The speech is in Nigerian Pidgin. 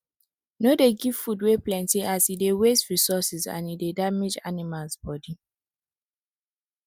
no dey give food wey plenty as e dey waste resources and e dey damage animals body